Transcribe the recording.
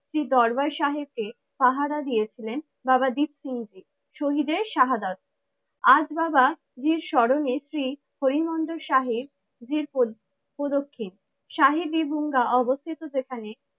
শ্রী দরবার সাহেবকে পাহারা দিয়েছিলেন বাবা দীপ সিংহজি। শহীদের শাহাদাত, আজ বাবাজীর স্মরণে শ্রী হরি মন্দির শাহ এর জির প্রদ প্রদক্ষিণ শাহেদ এবং অবস্থিত যেখানে